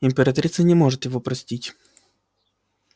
императрица не может его простить